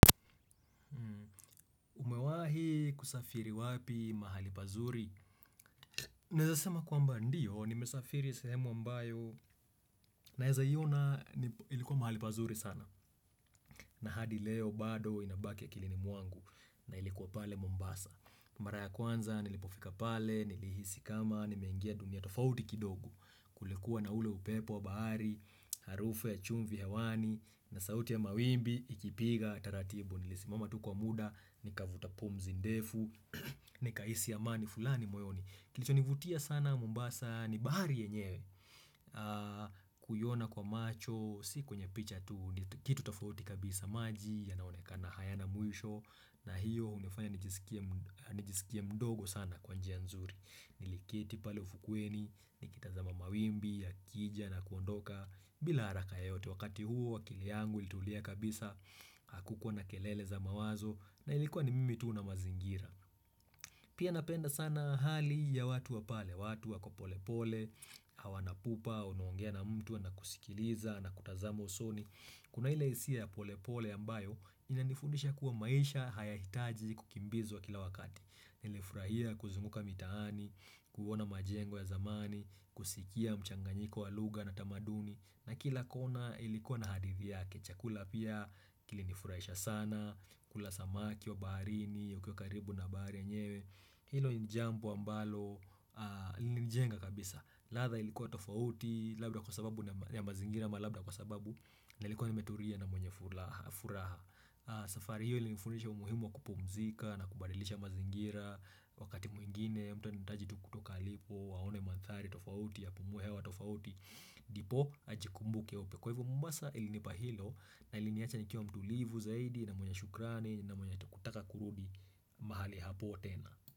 Umewahi kusafiri wapi mahali pazuri? Naweza sema kwamba ndiyo, nimesafiri sehemu ambayo, naweza iona ilikuwa mahali pazuri sana. Na hadi leo bado inabaki ya akilini mwangu, na ilikuwa pale Mombasa. Mara ya kwanza, nilipofika pale, nilihisi kama, nimengia dunia tofauti kidogo. Kulikuwa na ule upepo wa bahari, harufu ya chumvi hewani, na sauti ya mawimbi, ikipiga, taratibu. Nilisimama tu kwa muda, nikavuta pumzi ndefu, nikahisi amani fulani moyoni kilicho nivutia sana mombasa, ni bahari yenyewe kuiona kwa macho, si kwenye picha tu, kitu tofauti kabisa maji yanaoneka na hayana mwisho, na hiyo hunifanya nijisikia mdogo sana kwa njia nzuri niliketi pale ufukweni, nikitazama mawimbi, ya kija na kuondoka bila haraka yote wakati huo akili yangu ilitulia kabisa hakukuwa na kelele za mawazo na ilikuwa ni mimi tu na mazingira. Pia napenda sana hali ya watu wapale, watu wako pole pole, hawa na pupa, unaongea na mtu na kusikiliza na kutazamo usoni. Kuna ile hisia ya pole pole ambayo inanifundisha kuwa maisha haya hitaji kukimbizwa kila wakati. Nilifurahia kuzunguka mitaani, kuona majengo ya zamani, kusikia mchanganyiko wa lugha na tamaduni na kila kona ilikuwa na hadithi yake, chakula pia kilinifurahisha sana kula samaki wa barini, ukiwa karibu na bahari yenyewe Hilo jambo ambalo, ilinijenga kabisa ladha ilikuwa tofauti, labda kwa sababu ya mazingira ma labda kwa sababu Nilikuwa nimeturia na mwenye furaha safari hiyo ilinifundisha umuhimu wa kupumzika na kubadilisha mazingira wakati mwingine mtu anitaji tu kutoka alipo aone mandhari tofauti ya apumue hewa tofauti ndipo ajikumbuke upya kwa hivo mombasa ilinipa hilo na iliniacha nikiwa mtulivu zaidi na mwenye shukrani na mwenye kutaka kurudi mahali hapo tena.